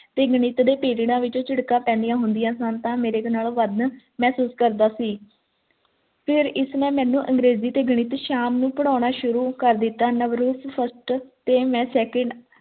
ਗਣਿਤ ਦੇ periods ਵਿੱਚ ਝਿੜਕਾਂ ਪੈਂਦੀਆਂ ਹੁੰਦੀਆਂ ਸੀ ਤੇ ਮੇਰੇ ਤੋਂ ਵੱਧ ਮਹਿਸੂਸ ਕਰਦਾ ਸੀ ਫਿਰ ਇਸ ਨੇ ਮੈਨੂੰ ਫਿਰ ਇਸ ਨੇ ਮੈਨੂੰ ਅੰਗਰੇਜ਼ੀ ਤੇ ਗਣਿਤ ਸ਼ਾਮ ਨੂੰ ਪੜ੍ਹਾਉਣਾ ਸ਼ੁਰੂ ਕਰ ਦਿੱਤਾ ਨਵਰੂਪ first ਤੇ ਮੈਂ second